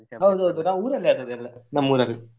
ಹೌದೌದು ನಾವು ಊರಲ್ಲಿ ಆದದ್ದು ಎಲ್ಲಾ, ನಮ್ಮೂರಲ್ಲಿ.